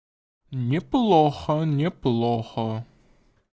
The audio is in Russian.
неплохо неплохо